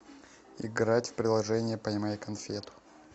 играть в приложение поймай конфету